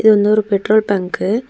இது வந்து ஒரு பெட்ரோல் பங்கு .